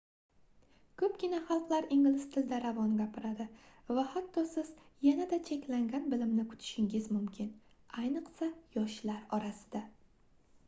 koʻpgina xalqlar ingliz tilida ravon gapiradi va hatto siz yanada cheklangan bilimni kutishingiz mumkin ayniqsa yoshlar orasida